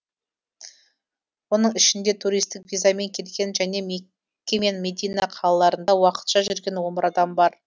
оның ішінде туристік визамен келген және мекке мен медина қалаларында уақытша жүрген он бір адам бар